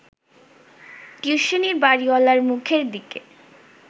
টিউশনির বাড়িওয়ালার মুখের দিকে